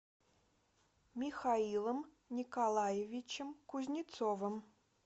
михаилом николаевичем кузнецовым